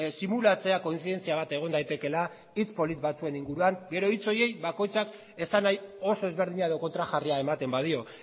simulatzea kointzidentzia bat egon daitekeela hitz polit batzuen inguruan gero hitz horiei bakoitzak esanahi oso ezberdina edo kontrajarria ematen badio